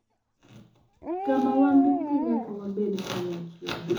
Kama wan duto nyaka wabed kanyachiel